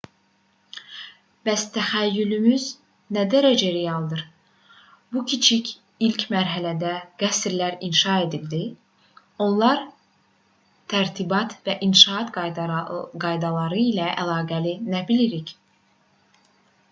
bəs təxəyyülümüz nə dərəcədə realdır nə üçün ilk mərhələdə qəsrlər inşa edildi onlar tərtibat və inşaat qaydaları ilə əlaqəli nə bilirik